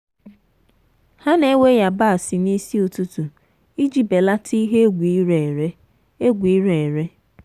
ha na-ewe yabasị n'isi ụtụtụ iji belata ihe egwu ire ere. egwu ire ere.